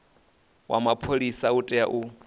wa mapholisa u tea u